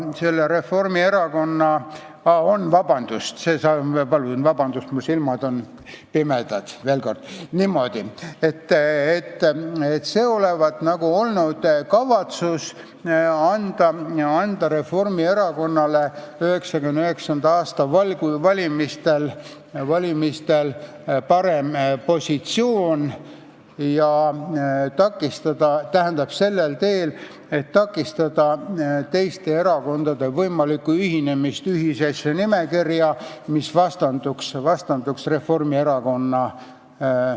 Olevat nagu olnud kavatsus luua Reformierakonnale 1999. aasta valimistel parem positsioon ja takistada sellel teel teiste erakondade võimalikku ühinemist ühisesse nimekirja, mis vastanduks Reformierakonnale.